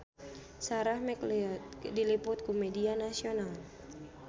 Sarah McLeod diliput ku media nasional